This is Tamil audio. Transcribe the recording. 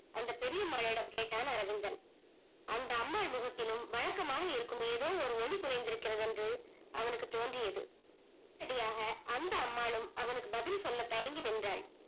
அந்த பெரிய அம்மாயிடம் கேட்டான் அரவிந்தன் அந்த அம்மால் முகத்திலும் வழக்கமாக இருக்கும் ஏதோ ஒரு ஒளி குறைந்திருக்கிறது என்று அவனுக்கு தோன்றியது அப்படியாக அந்த அம்மாள்லும் அவனுக்கு பதில் சொல்ல தயங்கி நின்றால்